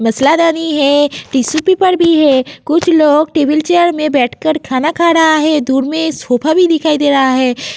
मसाला दरी है। Tissue paper भी है। कुछ लोग टेबल चेयर में बैठकर खाना खा रहा है। दूर में सोफ़ा भी दिखाई दे रहा है।